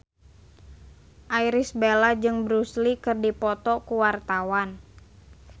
Irish Bella jeung Bruce Lee keur dipoto ku wartawan